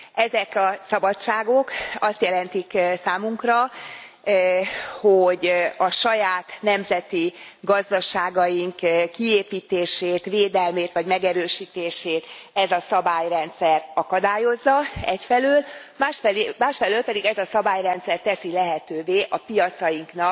Ezek a szabadságok azt jelentik számunkra, hogy a saját nemzeti gazdaságaink kiépítését, védelmét vagy megerősítését ez a szabályrendszer akadályozza egyfelől, másfelől pedig ez a szabályrendszer teszi lehetővé a piacaink